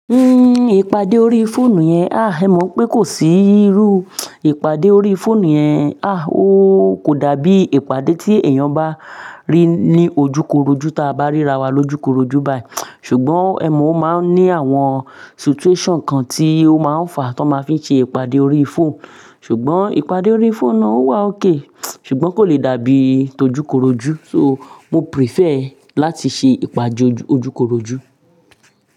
Uhm, ìpàdé orí fóònù yẹn, ah, èmi mo pé kò sí irú ìpàdé orí fóònù yẹn. Ah, ó kò dàbí ìpàdé tí èèyàn bá rí ní ojúkorojú ta bá ríra wa lójúkorojú báyìí. Ṣùgbọ́n èmo o mo máa ń ní àwọn situation kan tí ó máa ń fàá tó máa ń fi ṣe ìpàdé orí fóònù. Ṣùgbọ́n ìpàdé orí fóònù náà ó wà okay ṣùgbọ́n kò lè dàbí ti ojukoroju So, mo prefer láti ṣe ìpàdé ojúkorojú.